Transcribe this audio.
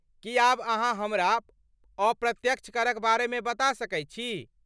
की आब अहाँ हमरा अप्रत्यक्ष करक बारेमे बता सकैत छी?